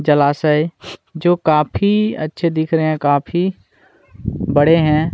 जलाश है जो काफी अच्छे दिख रहे है काफी बड़े है |